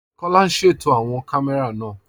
Kọla n ṣétò awọn kàmẹ̀rà náà